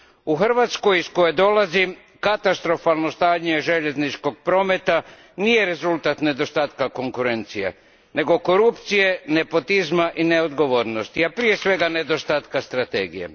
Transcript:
U Hrvatskoj iz koje dolazim katastrofalno stanje željezničkog prometa nije rezultat nedostatka konkurencije, nego korupcije, nepotizma i neodgovornosti, a prije svega nedostatka strategije.